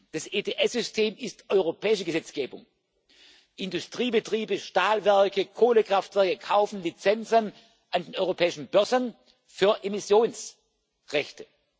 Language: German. Das ETS System ist europäische Gesetzgebung. Industriebetriebe, Stahlwerke, Kohlekraftwerke kaufen Lizenzen an europäischen Börsen für Emissionsrechte.